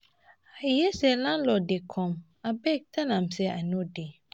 I hear say landlord dey come abeg tell am say I no dey